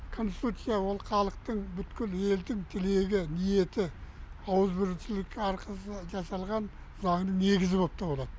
конституция ол халықтың бүткіл елдің тілегі ниеті ауызбіршілік арқылы жасалған заңның негізі болып табылады